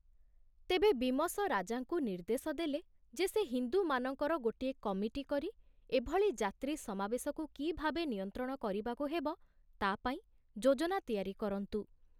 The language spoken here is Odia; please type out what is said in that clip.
ତେବେ ବୀମସ ରାଜାଙ୍କୁ ନିର୍ଦ୍ଦେଶ ଦେଲେ ଯେ ସେ ହିନ୍ଦୁମାନଙ୍କର ଗୋଟିଏ କମିଟି କରି ଏଭଳି ଯାତ୍ରୀ ସମାବେଶକୁ କିଭାବେ ନିୟନ୍ତ୍ରଣ କରିବାକୁ ହେବ ତା ପାଇଁ ଯୋଜନା ତିଆରି କରନ୍ତୁ।